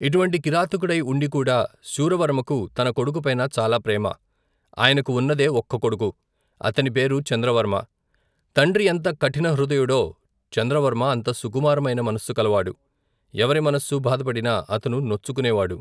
ఇటువంటి కిరాతకుడై ఉండి కూడా శూరవర్మకు తన కొడుకు పైన చాలా ప్రేమ. ఆయనకు ఉన్నదే ఒక్క కొడుకు. అతని పేరు చంద్రవర్మ. తండ్రి ఎంత కఠిన హృదయుడో చంద్రవర్మ అంత సుకుమారమైన మనస్సుకల వాడు. ఎవరి మనస్సు బాధపడినా అతను నొచ్చుకునేవాడు.